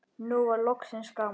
Nú var loksins gaman.